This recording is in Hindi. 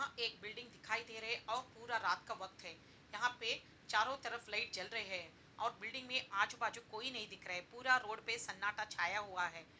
यहाँ एक बिल्डिंग दिखाई दे रहे हैं और पूरा रात का वक्त है| यहाँ पे चारों तरफ लाइट जल रहे हैं और बिल्डिंग में आजू-बाजू कोई नहीं दिख रहा है और पूरा रोड पे सन्नाटा छाया हुआ है।